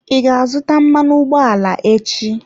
I ga-azụta mmanụ ụgbọala echi?